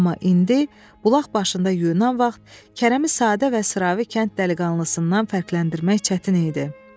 Amma indi, bulaq başında yuyunan vaxt Kərəmi sadə və sıravi kənd dəliqanlısından fərqləndirmək çətin idi.